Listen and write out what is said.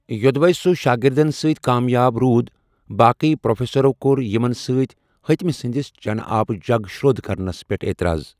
یو٘دوے سُہ شٲگِردن سۭت کامیاب روٗد، باقی پروفیسرو کوٚر یِمن سۭتی ہِتمہِ سندِس چنہٕ آبہٕ جگ شر٘و٘د كرنس پیٹھ اعتراض۔